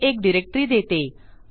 हे एक डायरेक्टरी देते